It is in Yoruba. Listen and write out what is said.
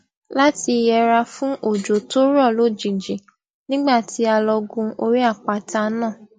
láti yẹra fún òjò tó rọ lójijì nígbà tí a lọ gun orí àpáta náà